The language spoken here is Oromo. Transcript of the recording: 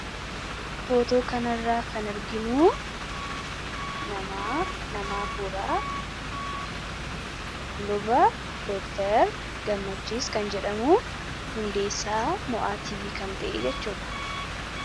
Footoo kanarraa kan arginuu nama. Nama afuuraa luba Dr. Gammachiis kan jedhamu hundeessaa mo'aa tiivii kan ta'edhaa jechuudha.